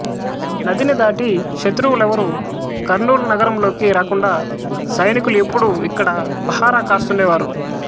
నదిని దాటి శత్రువులెవ్వరూ కర్నూలు నగరంలోకి రాకుండా సైనికులు ఎప్పుడూ ఇక్కడ పహరా కాస్తుండేవారు